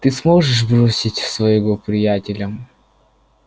ты можешь бросить своего приятеля